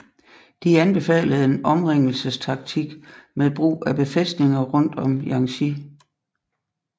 De anbefalede en omringelsestaktik med brug af befæstninger rundt om Jiangxi